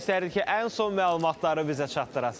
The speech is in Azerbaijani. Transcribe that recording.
İstərdik ki, ən son məlumatları bizə çatdırasan.